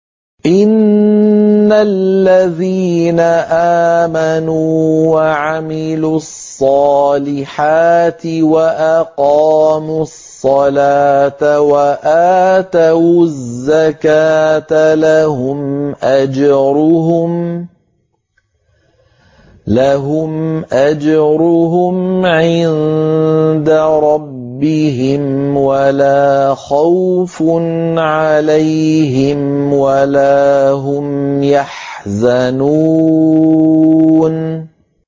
إِنَّ الَّذِينَ آمَنُوا وَعَمِلُوا الصَّالِحَاتِ وَأَقَامُوا الصَّلَاةَ وَآتَوُا الزَّكَاةَ لَهُمْ أَجْرُهُمْ عِندَ رَبِّهِمْ وَلَا خَوْفٌ عَلَيْهِمْ وَلَا هُمْ يَحْزَنُونَ